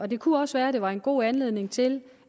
det kunne også være det var en god anledning til